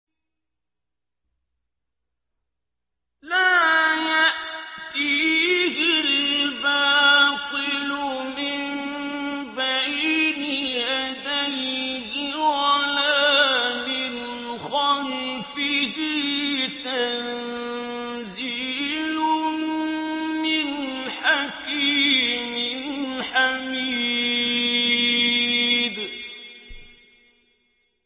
لَّا يَأْتِيهِ الْبَاطِلُ مِن بَيْنِ يَدَيْهِ وَلَا مِنْ خَلْفِهِ ۖ تَنزِيلٌ مِّنْ حَكِيمٍ حَمِيدٍ